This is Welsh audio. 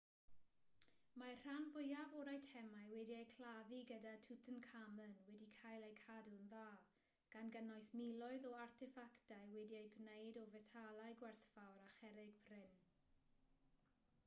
mae'r rhan fwyaf o'r eitemau wedi'u claddu gyda tutankhamun wedi cael eu cadw'n dda gan gynnwys miloedd o arteffactau wedi eu gwneud o fetalau gwerthfawr a cherrig prin